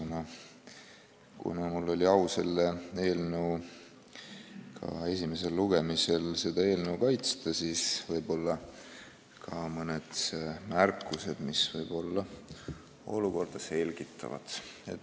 Ja kuna mul oli au selle esimesel lugemisel seda eelnõu kaitsta, siis ka mõned märkused, mis võib-olla olukorda selgitavad.